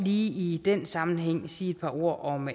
i den sammenhæng sige et par ord om